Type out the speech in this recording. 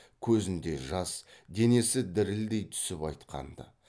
көзінде жас денесі дірілдей түсіп айтқанды